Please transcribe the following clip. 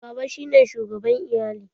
Baba shi ne shugaban iyali.